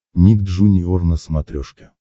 ник джуниор на смотрешке